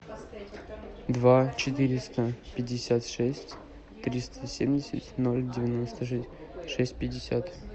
два четыреста пятьдесят шесть триста семьдесят ноль девяносто шесть пятьдесят